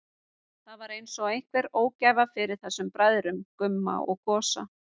Það var einsog einhver ógæfa yfir þessum bræðrum, Gumma og Gosa.